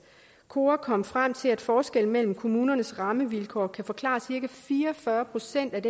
kora kom frem til at forskellen mellem kommunernes rammevilkår kan forklare cirka fire og fyrre procent af